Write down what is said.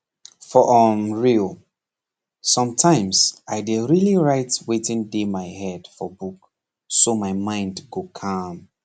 for um real sometimes i dey really write wetin dey my head for book so my mind go calm